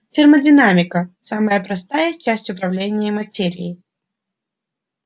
термодинамика самая простая часть управления материей